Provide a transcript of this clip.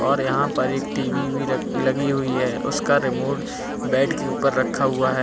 और यहां पर एक टी_वी भी लगी हुई है उसका रिमोट बेड के ऊपर रखा हुआ है।